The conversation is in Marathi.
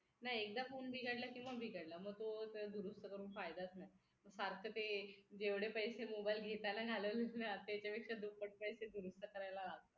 नाही एकदा फोन बिघडला की मग बिघडला मग तो दुरुस्त करून फायदाच नाही सारखं ते जेवढे पैसे mobile घेताना घालवलेत ना त्याच्यापेक्षा दुप्पट पैसे दुरुस्त करायला